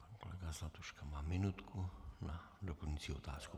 Pan kolega Zlatuška má minutku na doplňující otázku.